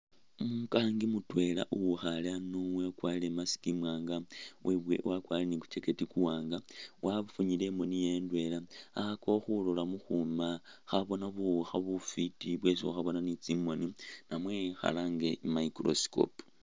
Umukangi mutwela uwikhaale ano wakwarire i'mask imwanga webo wakwarire ne ku'jacket kuwaanga wafunyile imooni yewe indwela, akhakhakakho khulola mukuuma khaboona buwuukha mufwiti bwesi khukhaboona ne tsimooni ta namwe khalange i'microscope.